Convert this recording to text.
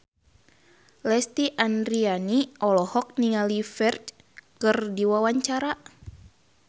Lesti Andryani olohok ningali Ferdge keur diwawancara